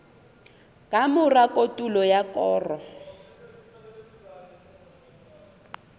ka mora kotulo ya koro